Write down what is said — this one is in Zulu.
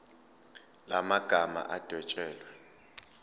la magama adwetshelwe